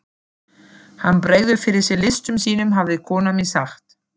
Hann bregður fyrir sig listum sínum hafði kona mín sagt.